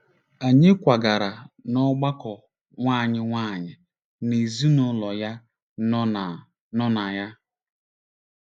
Anyị kwagara n’ọgbakọ nwa anyị nwanyị na ezinụlọ ya nọ na nọ na ya.